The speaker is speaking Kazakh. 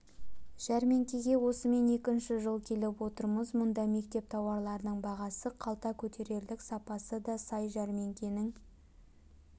жәрмеңкеге осымен екінші жыл келіп отырмыз мұнда мектеп тауарларының бағасы қалта көтерерлік сапасы да сай жәрмеңкенің